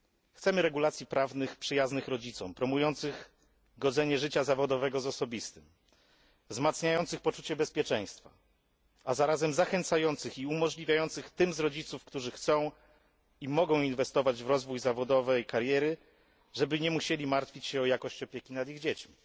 Chcemy regulacji prawnych przyjaznych rodzicom, promujących godzenie życia zawodowego z osobistym, wzmacniających poczucie bezpieczeństwa, a zarazem zachęcających i umożliwiających tym z rodziców, którzy chcą i mogą inwestować w rozwój kariery zawodowej, żeby nie musieli martwić się o jakość opieki nad ich dziećmi.